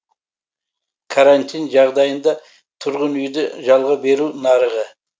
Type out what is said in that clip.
карантин жағдайында тұрғын үйді жалға беру нарығы